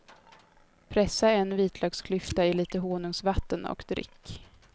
Pressa en vitlöksklyfta i lite honungsvatten och drick.